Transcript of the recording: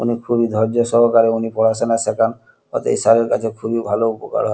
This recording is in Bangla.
অনেক খুবই ধর্য্য সহকারে উনি পড়াশুনা সেখান ওদের এই স্যার এর কাছে খুবই ভালো উপকার হয়।